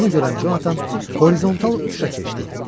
Bunu görən Jonathan horizontal uçuşa keçdi.